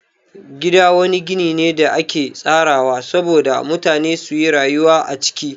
Gida wani gini ne da ake tsarawa sabo da mutane suyi rayuwa a ciki.